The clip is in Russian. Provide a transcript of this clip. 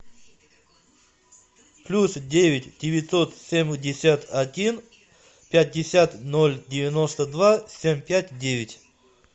плюс девять девятьсот семьдесят один пятьдесят ноль девяносто два семь пять девять